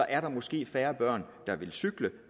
er der måske færre børn der vil cykle